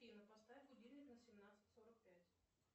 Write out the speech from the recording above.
афина поставь будильник на семнадцать сорок пять